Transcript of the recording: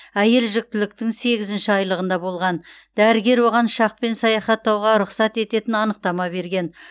әйел жүктіліктің сегізінші айлығында болған дәрігер оған ұшақпен саяхаттауға рұқсат ететін анықтама берген